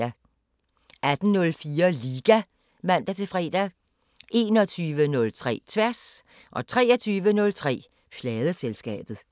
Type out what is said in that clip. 18:04: Liga (man-fre) 21:03: Tværs 23:03: Pladeselskabet